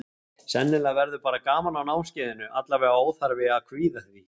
Sennilega verður bara gaman á námskeiðinu, allavega óþarfi að kvíða því.